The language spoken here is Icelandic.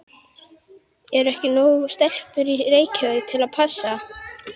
Eru ekki nógar stelpur í Reykjavík til að passa?